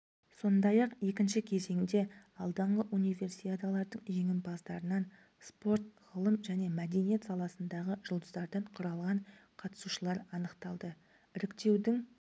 сондай-ақ екінші кезеңде алдыңғы универсиадалардың жеңімпаздарынан спорт ғылым және мәдениет саласындағы жұлдыздардан құралған қатысушылар анықталды іріктеудің